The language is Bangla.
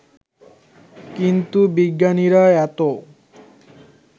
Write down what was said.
কিন্তু বিজ্ঞানীরা এতো